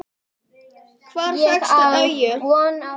Hvar fékkstu þessi augu?